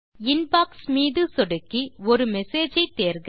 inbox மீது சொடுக்கி ஒரு மெசேஜ் ஐ தேர்க